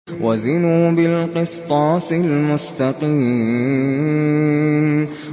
وَزِنُوا بِالْقِسْطَاسِ الْمُسْتَقِيمِ